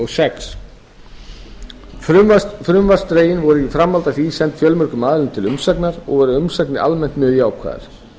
sex frumvarpsdrögin voru í framhaldi af því send fjölmörgum aðilum til umsagnar og voru umsagnir almennt mjög jákvæðar